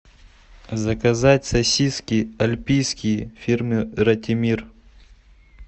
заказать сосиски альпийские фирмы ратимир